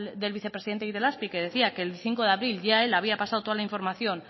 del vicepresidente de itelazpi que decía que el cinco de abril ya él había pasado toda la información